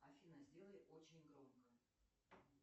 афина сделай очень громко